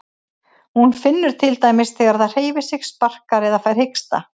Hún finnur til dæmis þegar það hreyfir sig, sparkar eða fær hiksta.